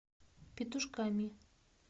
петушками